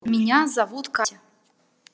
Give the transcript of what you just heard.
меня зовут катя